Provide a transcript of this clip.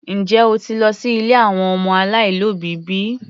Njẹ́ o ti lọ sí ilé àwọn ọmọ aláìlóbìí bi?